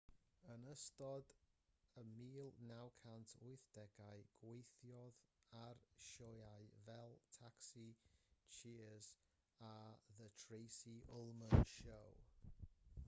yn ystod yr 1980au gweithiodd ar sioeau fel taxi cheers a the tracy ullman show